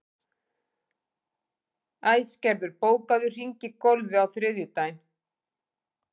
Æsgerður, bókaðu hring í golf á þriðjudaginn.